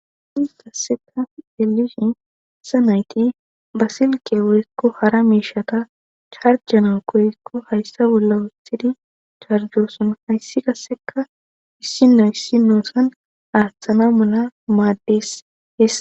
sis kasseka delisi sa nayti basilke worikko hara miishata charjana koykko hayssa bolla wuthidi charjoson hayssi kasseka issino issinosan aaththana mala maaddeshes